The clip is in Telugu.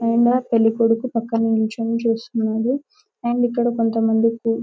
ఆయన పెళ్ళికొడుకు పక్కన నిల్చోని చూస్తున్నాడు అండ్ ఇక్కడ కొంతమంది --